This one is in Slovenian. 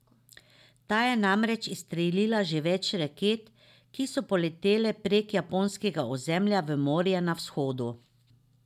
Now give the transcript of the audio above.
Ta je namreč izstrelila že več raket, ki so poletele prek japonskega ozemlja v morje na vzhodu.